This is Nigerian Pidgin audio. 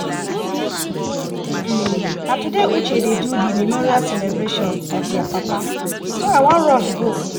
um na today uche dey do the memorial celebration of their papa so i wan rush go